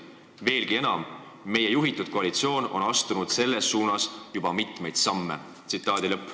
Veelgi enam, meie juhitud koalitsioon on astunud selles suunas juba mitmeid samme.